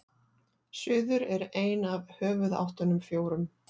suður er ein af höfuðáttunum fjórum